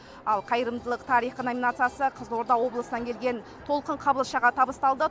ал қайырымдылық тарихы номинациясы қызылорда облысынан келген толқын қабылшаға табысталды